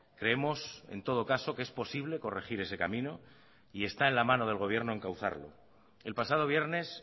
creemos en todo caso que es posible corregir ese camino y está en la mano del gobierno encauzarlo el pasado viernes